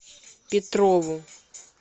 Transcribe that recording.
петрову